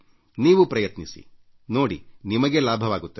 ನೀವೂ ಪ್ರಯತ್ನಿಸಿ ನೋಡಿ ನಿಮಗೆ ಲಾಭವಾಗುತ್ತದೆ